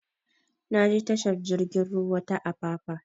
Na je tashar jigin ruwa ta apapa